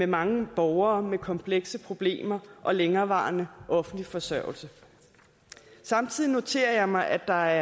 mange borgere med komplekse problemer og længerevarende offentlig forsørgelse samtidig noterer jeg mig at der